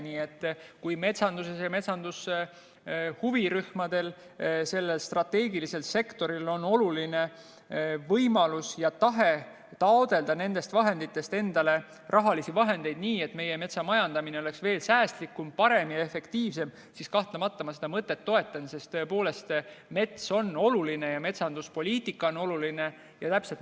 Nii et kui metsanduses ja metsanduse huvirühmadel, sellel strateegilisel sektoril on võimalus ja tahe taotleda nendest vahenditest endale rahalisi vahendeid, nii et meie metsa majandamine oleks veel säästlikum, parem ja efektiivsem, siis kahtlemata ma seda mõtet toetan, sest mets on oluline ja metsanduspoliitika on oluline.